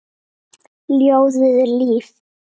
Ljóðið er líf.